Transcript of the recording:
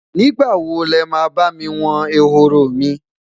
nígbà wo lema bá mí won ehoro mi?